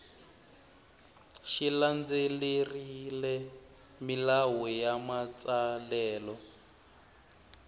xi landzelerile milawu ya matsalelo